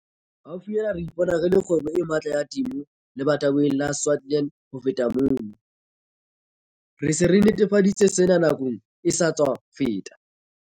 Haufinyana re ipona re le kgwebo e matla ya temo lebatoweng la Swartland le ho feta mono. Re se re nnetefaditse sena nakong e sa tswa feta.